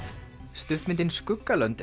stuttmyndin